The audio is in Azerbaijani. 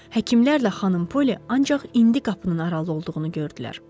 Həkimlərlə xanım Polli ancaq indi qapının aralı olduğunu gördülər.